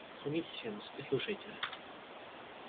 садитесь венус и слушайте